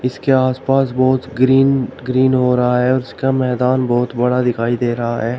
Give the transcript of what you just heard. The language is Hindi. के आस पास बहुत ग्रीन ग्रीन हो रहा है उसका मैदान बहुत बड़ा दिखाई दे रहा है।